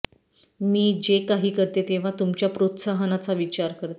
मी जे काही करते तेव्हा तुमच्या प्रोत्साहनाचा विचार करते